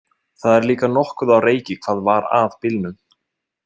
Það er líka nokkuð á reiki hvað var að bílnum.